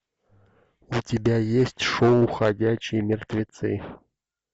у тебя есть шоу ходячие мертвецы